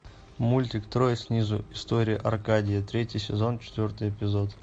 мультик трое снизу история аркадия третий сезон четвертый эпизод